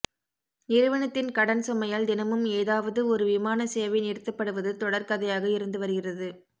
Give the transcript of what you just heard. நிறுவனத்தின் கடன் சுமையால் தினமும் ஏதாவது ஒரு விமான சேவை நிறுத்தப்படுவது தொடர்கதையாக இருந்து வருகிறது